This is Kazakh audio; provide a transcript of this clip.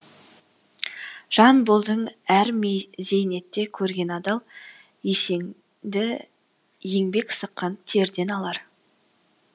жан болдың әр зейнетті көрген адал есеңді еңбек сыққан терден алар